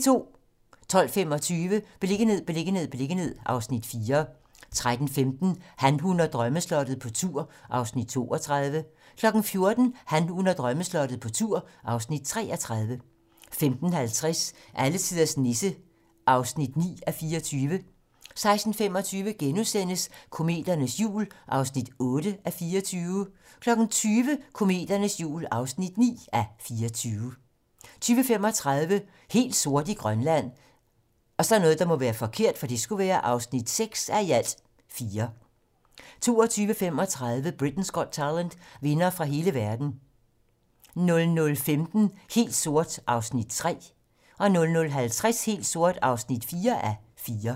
12:25: Beliggenhed, beliggenhed, beliggenhed (Afs. 4) 13:15: Han, hun og drømmeslottet - på tur (Afs. 32) 14:00: Han, hun og drømmeslottet - på tur (Afs. 33) 15:50: Alletiders Nisse (9:24) 16:25: Kometernes jul (8:24)* 20:00: Kometernes jul (9:24) 20:35: Helt sort i Grønland (6:4) 22:35: Britain's Got Talent - vindere fra hele verden 00:15: Helt sort (3:4) 00:50: Helt sort (4:4)